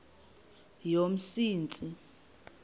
yomsintsi